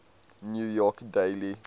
new york daily